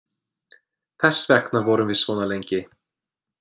Þess vegna vorum við svona lengi.